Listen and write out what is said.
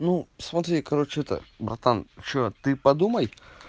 ну смотри короче это братан что ты подумай